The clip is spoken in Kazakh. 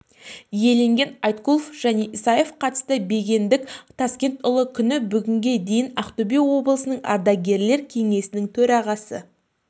иеленген айткулов және исаев қатысты бегендік таскентұлы күні бүгінге дейін ақтөбе облысының ардагерлер кеңесінің төрағасы